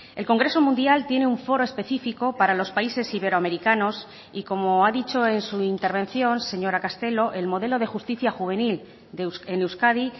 el congreso mundial tiene un foro específico para los países iberoamericanos y como ha dicho en su intervención señora castelo el modelo de justicia juvenil en euskadi